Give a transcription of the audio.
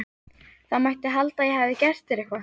Það mætti halda að ég hefði gert þér eitthvað